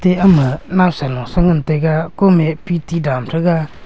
e ama naosa naosa ngan taiga kom e pt dan taga.